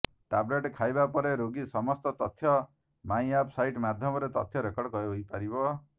tablet ଖାଇବା ପରେ ରୋଗୀର ସମସ୍ତ ତଥ୍ୟ ମାଇ ଆପ ସାଇଟ ମାଧ୍ୟମରେ ତଥ୍ୟ ରେକର୍ଡ ହୋଇପାରିବ